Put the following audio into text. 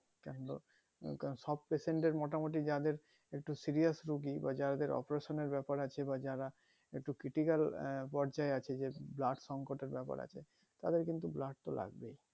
সব patient এর মোটামোটি যাদের একটু serious রুগী যাদের operation এর ব্যাপার আছে বা যারা একটু critical আহ পর্যায় আছে যে blood সংকট এর ব্যাপার আছে তাদের কিন্তু blood তো লাগবেই